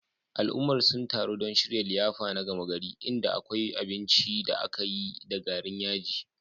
Al'ummar sun taru don shirya liyafa na gama gari, inda akwai binci da aka yi da garin yaji.